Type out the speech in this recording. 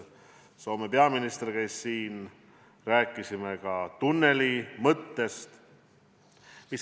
Soome peaminister käis siin, rääkisime ka tunnelimõttest.